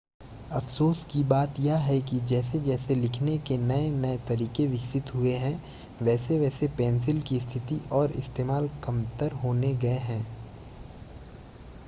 अफ़सोस की बात यह है कि जैसे-जैसे लिखने के नए-नए तरीके विकसित हुए हैं वैसे-वैसे पेंसिल की स्थिति और इस्तेमाल कमतर होते गए हैं